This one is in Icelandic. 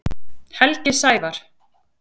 Helgi Sævar.